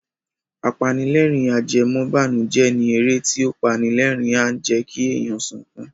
Apanilẹ́rìn-ajẹmọ́ìbànùjẹ́ ni eré tí ó pani lerin and jẹ́kí èèyàn sunkún